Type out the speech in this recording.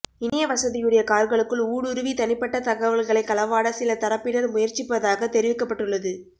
இணைய வசதியுடைய கார்களுக்குள் ஊடுருவி தனிப்பட்ட தகவல்களை களவாட சில தரப்பினர் முயற்சிப்பதாகத் தெரிவிக்கப்பட்டுள்ளது